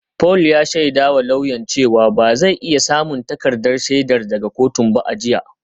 Paul ya shaidawa lauyan cewa ba zai iya samun takardar shaidar daga kotun ba a jiya